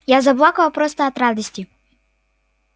я заплакала просто от радости